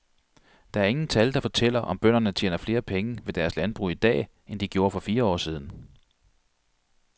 Der er ingen tal, der fortæller om bønderne tjener flere penge ved deres landbrug i dag, end de gjorde for fire år siden.